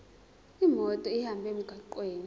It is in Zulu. imoto ihambe emgwaqweni